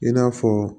I n'a fɔ